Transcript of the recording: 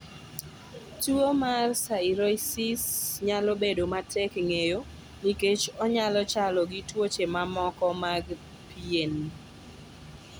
Tuwo mar psoriasis nyalo bedo matek ng�eyo nikech onyalo chalo gi tuoche mamoko mag pien.